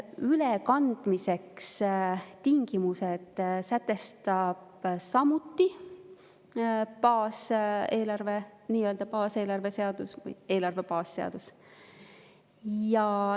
Ülekandmise tingimused sätestab samuti eelarve baasseadus.